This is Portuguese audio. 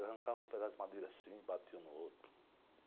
Arrancava um pedaço de madeira assim e batia um no outro.